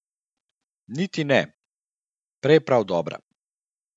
Niti ne, prej prav dobra.